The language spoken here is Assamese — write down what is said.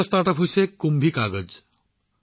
আন এটা ষ্টাৰ্টআপ হৈছে কুম্ভিকাগাজ